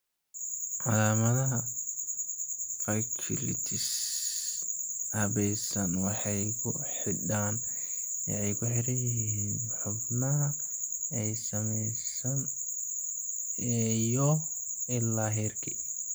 Calaamadaha vasculitis habaysan waxay ku xidhan yihiin xubnaha ay saameeyeen iyo ilaa heerkee.